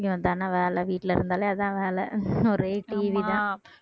வேலை வீட்டுல இருந்தாலே அதான் வேலை ஒரே TV தான்